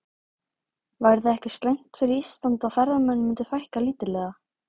Væri það eitthvað slæmt fyrir Ísland að ferðamönnum myndi fækka lítillega?